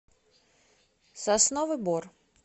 сосновый бор